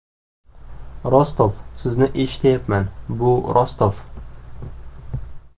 Rostov: Sizni eshityapman, bu Rostov.